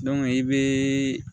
i bɛ